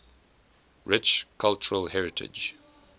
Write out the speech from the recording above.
rich cultural heritage